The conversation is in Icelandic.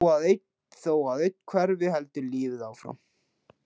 Þó að einn hverfi heldur lífið áfram.